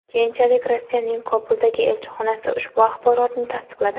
Keyinchalik Rossiyaning Kobuldagi elchixonasi ushbu axborotni tasdiqladi .